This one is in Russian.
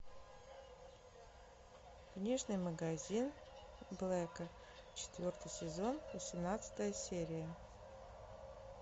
книжный магазин блэка четвертый сезон восемнадцатая серия